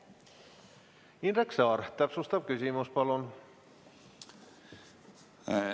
Indrek Saar, täpsustav küsimus, palun!